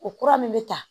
O kura min bɛ ta